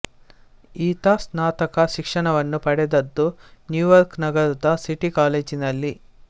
ಈತ ಸ್ನಾತಕ ಶಿಕ್ಷಣವನ್ನು ಪಡೆದದ್ದು ನ್ಯೂಯಾರ್ಕ್ ನಗರದ ಸಿಟಿ ಕಾಲೇಜಿನಲ್ಲಿ